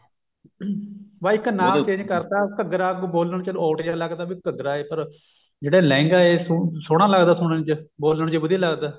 ਬਸ ਇੱਕ ਨਾਮ change ਕਰਤਾ ਘੱਗਰਾ ਕੁਝ ਬੋਲਣ odd ਜਾ ਲੱਗਦਾ ਵੀ ਘੱਗਰਾ ਹੈ ਪਰ ਜਿਹੜਾ ਲਹਿੰਗਾ ਹੈ ਸੋਹਣਾ ਲੱਗਦਾ ਸੁਣਨ ਚ ਬੋਲਣ ਚ ਵਧੀਆ ਲੱਗਦਾ